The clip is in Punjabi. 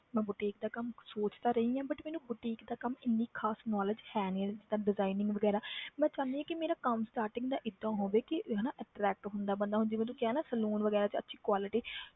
ਮੈਂ boutique ਦਾ ਕੰਮ ਸੋਚ ਤਾਂ ਰਹੀ ਹਾਂ but ਮੈਨੂੰ boutique ਦਾ ਕੰਮ ਇੰਨੀ ਖ਼ਾਸ knowledge ਹੈ ਨੀ ਤਾਂ designing ਵਗ਼ੈਰਾ ਮੈਂ ਚਾਹੁੰਦੀ ਹਾਂ ਕਿ ਮੇਰਾ ਕੰਮ starting ਦਾ ਏਦਾਂ ਹੋਵੇ ਕਿ ਹਨਾ attract ਹੁੰਦਾ ਬੰਦਾ ਹੁਣ ਜਿਵੇਂ ਤੂੰ ਕਿਹਾ ਨਾ saloon ਵਗ਼ੈਰਾ 'ਚ ਅੱਛੀ quality